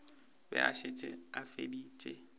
be a šetše a feditše